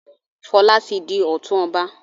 Fola tí dì òtún ọba.